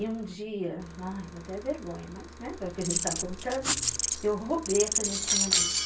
E um dia, ai, dá até vergonha, mas, né, já que a gente está contando, eu roubei a canetinha dele.